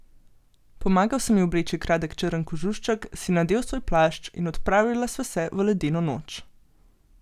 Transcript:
Pomagal sem ji obleči kratek črn kožušček, si nadel svoj plašč in odpravila sva se v ledeno noč.